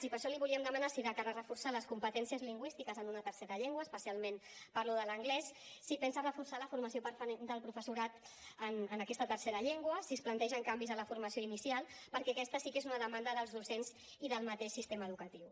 i per això li volíem demanar si de cara a reforçar les competències lingüístiques en una tercera llengua especialment parlo de l’anglès pensa reforçar la formació del professorat en aquesta tercera llengua si es plantegen canvis en la formació inicial perquè aquesta sí que és una demanda del docents i del mateix sistema educatiu